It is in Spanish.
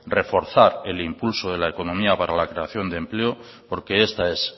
reforzar el impulso de la economía para la creación de empleo porque esta es